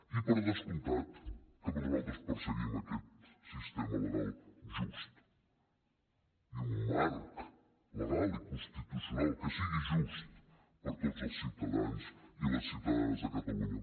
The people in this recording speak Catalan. i per descomptat que nosaltres perseguim aquest sistema legal just i un marc legal i constitucional que sigui just per a tots els ciutadans i les ciutadanes de catalunya